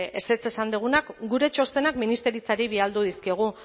ezetz esan dugunak gure txostenak ministeritzari bidali dizkiogu